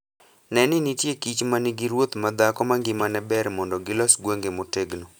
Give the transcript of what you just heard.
Ne ni nitie kich ma nigi ruoth madhako mangimane ber mondo gilos gwenge motegno.